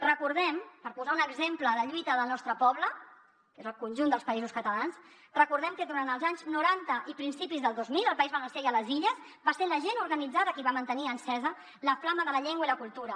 recordem per posar un exemple de lluita del nostre poble que és el conjunt dels països catalans que durant els anys noranta i principis del dos mil al país valencià i a les illes va ser la gent organitzada qui va mantenir encesa la flama de la llengua i la cultura